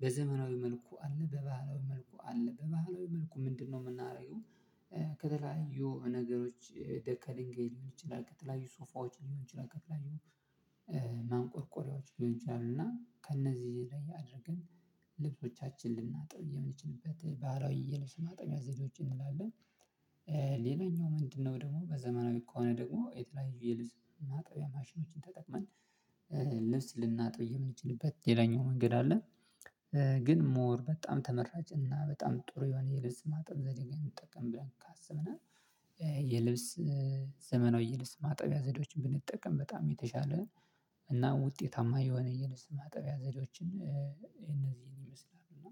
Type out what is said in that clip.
በዘመናዊ መልኩ አለ። በባህላዊ መልኩ አለ። በባህላዊ መልኩ ምንድነው የምናደርገው ከተለያዩ ነገሮች ደርከልንገይ ሊሆን ይችላል ቀጥላዩ ሶፋዎች ሊሆን ይችላል ከተለያዩ ማንቆርቆሪያዎች ሊሆን ይችላሉ። እና ከእነዚህ ላይ አድርግን ልብሶቻችንን ልናጥብ የምንችልበት ባህላዊ የልብስ ማጠቢያ ዘዴዎች ይኖራሉ ሌላኛው ምንድነው ደግሞ በዘመናዊ ከሆነ ደግሞ የተለያዩ የልብስ ማጠቢያ ማሽኖችን ተጠቅመን ልብስ ልናጥብ የምንችልበት ሌላኛው መንገድ አለ። ግን ሞር በጣም ተመራጭ እና በጣም ጥሩ የሆነ የልብስ ማጠብ ዘዴን እንጠቀም ብለን ካሰብነ የልብስ ዘመናዊ የልብስ ማጠቢያ ዘዴዎችን ብንጠቀም በጣም የተሻለ እና ውጤታማ የሆነ የልብስ ማጠቢያ ዘዴዎችን እነዚህን ይመስላል። እና